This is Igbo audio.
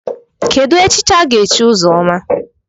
Kedụ echichi aga-echi Ụzọma?